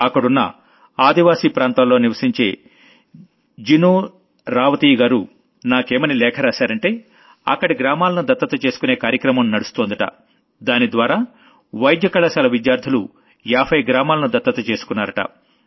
అక్కడున్న ఆదీవాసీ ప్రాంతాల్లో నివశించే జినూ రావతీయ్ గారు నాకేమని లేఖ రాశారంటే అక్కడ గ్రామాలను దత్తత చేసుకునే కార్యక్రమం నడుస్తోందట దానిద్వారా మెడికల్ కాలేజ్ స్టూడెంట్స్ 50 గ్రామాలను దత్తత చేసుకున్నారట